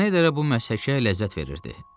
Şneyderə bu məsləhətə ləzzət verirdi.